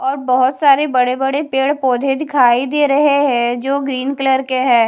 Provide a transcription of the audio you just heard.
और बहोत सारे बड़े बड़े पेड़ पौधे दिखाई दे रहे है जो ग्रीन कलर के है।